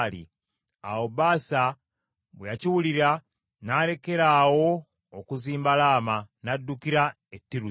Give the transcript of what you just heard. Awo Baasa bwe yakiwulira n’alekeraawo okuzimba Laama, n’addukira e Tiruza.